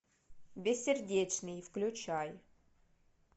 бессердечный включай